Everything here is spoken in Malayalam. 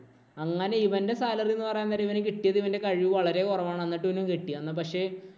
അങ്ങനെ ഇവന്‍റെ salary എന്ന് പറയാം നേരം ഇവന് കിട്ടിയത് ഇവന്‍റെ കഴിവ് വളരെ കുറവാണ്. എന്നിട്ട് ഇവനും കിട്ടി. അന്ന് പക്ഷേ,